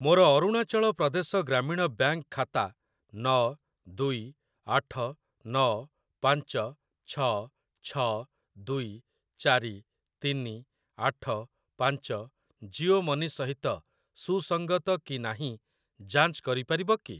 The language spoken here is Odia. ମୋର ଅରୁଣାଚଳ ପ୍ରଦେଶ ଗ୍ରାମୀଣ ବ୍ୟାଙ୍କ୍‌ ଖାତା ନ ଦୁଇ ଆଠ ନ ପାଞ୍ଚ ଛ ଛ ଦୁଇ ଚାରି ତିନି ଆଠ ପାଞ୍ଚ ଜିଓ ମନି ସହିତ ସୁସଙ୍ଗତ କି ନାହିଁ ଯାଞ୍ଚ କରିପାରିବ କି?